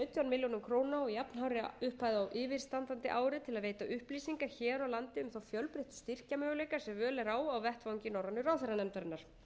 milljónir króna og jafnhárri upphæð á yfirstandandi ári til að veita upplýsingar hér á landi um þá fjölbreyttu styrkjamöguleika sem völ er á á vettvangi norrænu ráðherranefndarinnar